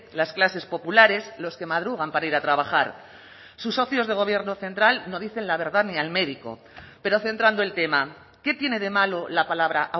las clases populares los que madrugan para ir a trabajar sus socios de gobierno central no dicen la verdad ni al médico pero centrando el tema qué tiene de malo la palabra